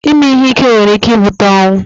Ịme ihe ike nwere ike ibute ọnwụ